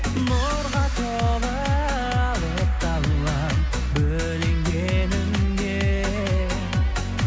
нұрға толы алыпты алаң бөлінгеніңде